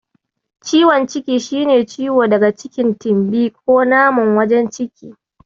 Ciwon ciki shi ne ciwo daga cikin tumbi ko naman wajen ciki.